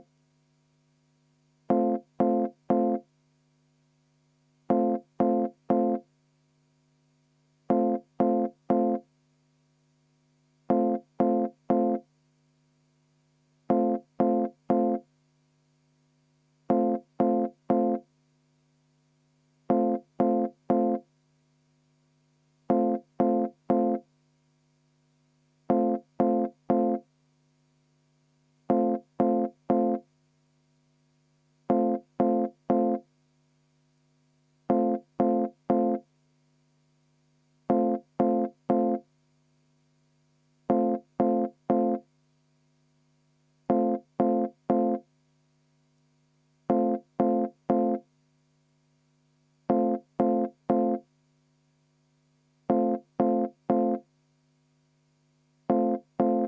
V a h e a e g